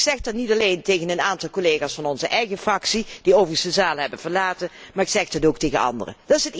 Ik zeg dat niet alleen tegen een aantal collega's van onze eigen fractie, die overigens de zaal hebben verlaten, maar ik zeg dit ook tegen anderen.